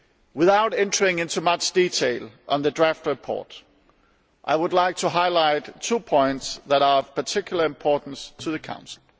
Without entering into much detail on the draft report, I would like to highlight two points which are of particular importance to the Council.